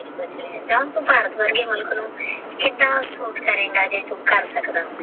ਭਾਰਤ ਵਰਗੇ ਮੁਲਕ ਨੂ ਕੀੜਾ ਅਫਸੋਸ ਕਰੇਗਾ ਜੇ ਤੂ ਕਰ ਸਕਦਾ ਹੋਵੇ